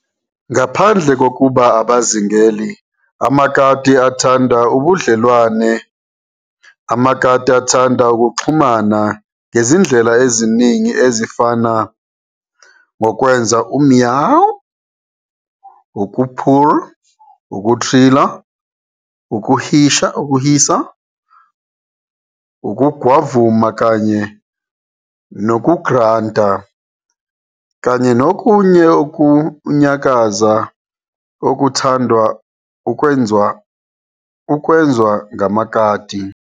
Ngaphandle kokuba abazingeli, amakati athanda ubudlelwane, amakati athanda ukuxhumana ngezindlela eziningi ezifana, ngokwenza u-meau, ukupurrr, ukuthrillla, ukuhisa, ukugwavuma kanye nokugranta, kanye nokunye ukunyakaza okuthandwa ukwenzwa ngamakati.